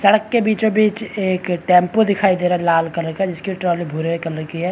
सड़क के बीचो-बीच एक टेम्पो दिखाई दे रहा है लाल कलर का जिस की ट्रॉली भूरे कलर की है।